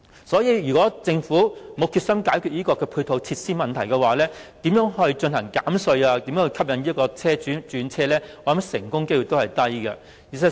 所以若政府沒有決心解決配套設施問題，純粹透過減稅吸引車主轉用電動車，成功機率是低的。